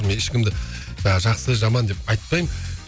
мен ешкімді жақсы жаман деп айтпаймын